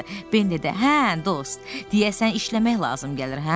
Ben dedi: hə, dost, deyəsən işləmək lazım gəlir, hə?